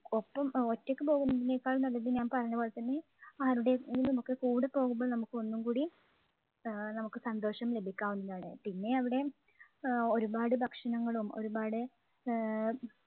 ഒട്ടും ഒറ്റയ്ക്ക് പോകുന്നതിനേക്കാൾ നല്ലത് ഞാൻ പറഞ്ഞപോലെ തന്നെ ആരുടെയെങ്കിലുമൊക്കെ കൂടെ പോകുമ്പോൾ നമുക്ക് ഒന്നും കൂടി ആഹ് നമുക്ക് സന്തോഷം ലഭിക്കാവുന്നതാണ്. പിന്നെ അവിടെ ആഹ് ഒരുപാട് ഭക്ഷണങ്ങളും ഒരുപാട് ആഹ്